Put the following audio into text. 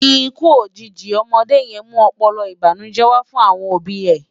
Ikú ójiji òmòdé yèn mú òpòlòpò ibánújè wá fun awòn óbi è